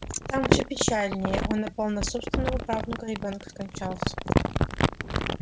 там всё печальнее он напал на собственного правнука ребёнок скончался